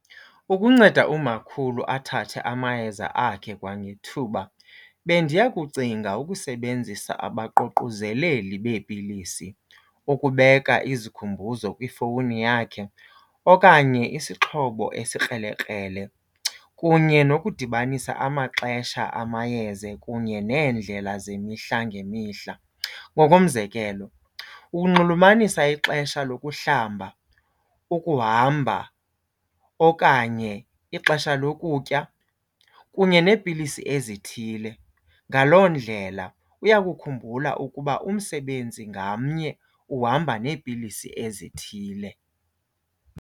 Ukunceda umakhulu athathe amayeza akhe kwangethuba bendiya kucinga ukusebenzisa abaququzeleli beepilisi, ukubeka izikhumbuzo kwifowuni yakhe okanye isixhobo esikrelekrele kunye nokudibanisa amaxesha amayeza kunye neendlela zemihla ngemihla. Ngokomzekelo ukunxulumanisa ixesha lokuhlamba, ukuhamba okanye ixesha lokutya kunye neepilisi ezithile. Ngaloo ndlela uyakukhumbula ukuba umsebenzi ngamnye uhamba neepilisi ezithile.